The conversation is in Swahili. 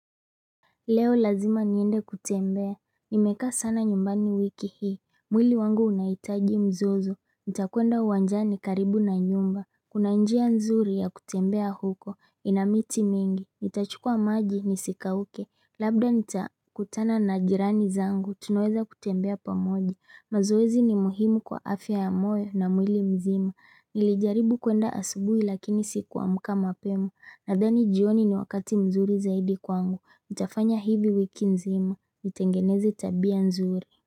Leo lazima niende kutembea, nimekaa sana nyumbani wiki hii mwili wangu unaitaji mzozo, nitakuenda wanjani karibu na nyumba Kuna njia nzuri ya kutembea huko, inamiti mingi, nitachukua maji nisika uke Labda nitakutana na jirani zangu, tunaweza kutembea pamoja mazoezi ni muhimu kwa afya ya moyo na mwili mzima Nilijaribu kuenda asubui lakini sikuamuka mapema Nadhani jioni ni wakati mzuri zaidi kwangu, utafanya hivi wiki nzima, utengeneze tabia nzuri.